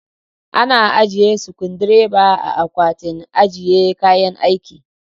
Ana ajiye sukundireba a Akwatin ajiye kayan aiki.